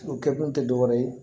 O kɛkun te dɔwɛrɛ ye